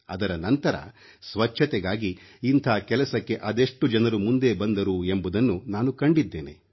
ಅದರ ನಂತರ ಸ್ವಚ್ಛತೆಗಾಗಿ ಇಂಥ ಕೆಲಸಕ್ಕೆ ಅದೆಷ್ಟು ಜನರು ಮುಂದೆ ಬಂದರು ಎಂಬುದನ್ನು ನಾನು ಕಂಡಿದ್ದೇನೆ